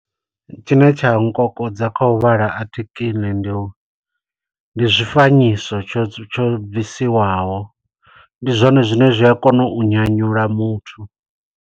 Tshine tsha nga nkokodza kha u vhala a athikiḽi, ndi u, ndi zwifanyiso tsho tsho bvisiwaho. Ndi zwone zwine zwi a kona u nyanyula muthu.